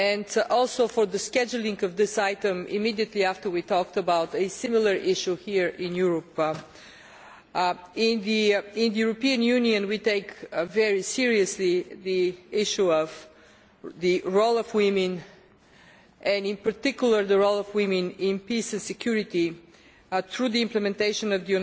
Thank you, too, for the scheduling of this item immediately after we talked about a similar issue here in Europe. In the European Union we take very seriously the issue of the role of women, and in particular the role of women in peace and security through implementation of